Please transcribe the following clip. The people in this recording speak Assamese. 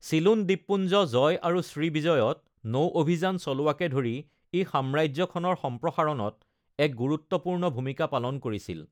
চিলোন দ্বীপপুঞ্জ জয় আৰু শ্ৰীবিজয়ত নৌ অভিযান চলোৱাকে ধৰি ই সাম্ৰাজ্যখনৰ সম্প্ৰসাৰণত এক গুৰুত্বপূৰ্ণ ভূমিকা পালন কৰিছিল।